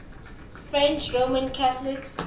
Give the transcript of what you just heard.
french roman catholics